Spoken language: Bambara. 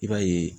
I b'a ye